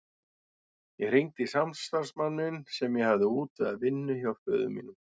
Ég hringdi í samstarfsmann minn sem ég hafði útvegað vinnu hjá föður mínum.